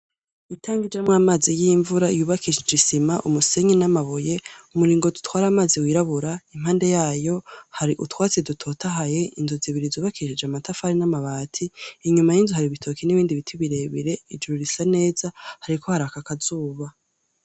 Itangi y'amazi y'imvura yubakishije isima umusenyi n'amabuye umuringoti utware amazi wirabura impande yayo hari utwatsi dutotahaye inzu zibiri zubakishije amatafari n'amabati inyuma y'inzu hari ibitoki n'ibindi biti birebere ijuru risa neza hariko haraka akazuba.